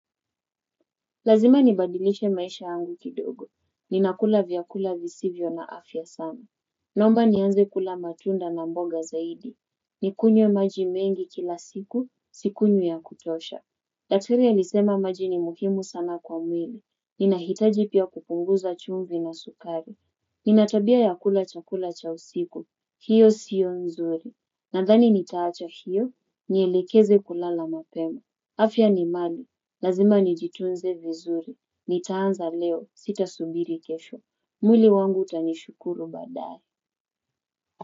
Lazima nibadilishe maisha angu kidogo. Ninakula vyakula visivyo na afya sana. Naomba nianze kula matunda na mboga zaidi. Nikunywe maji mengi kila siku, sikunywi ya kutosha. Daktari alisema maji ni muhimu sana kwa mwili. Ninahitaji pia kupunguza chumvi na sukari. Ninatabia ya kula chakula cha usiku. Hiyo siyo nzuri. Nadhani nitaacha hiyo, nielekeze kulala mapema. Afya ni mali. Lazima nijitunze vizuri nitaanza leo sita subiri kesho mwili wangu utanishukuru baadae.